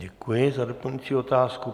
Děkuji za doplňující otázku.